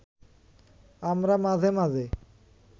আমরা মাঝে মাঝে